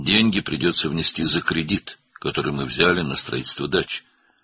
"Bağ evinin tikintisi üçün götürdüyümüz krediti ödəmək lazım gələcək.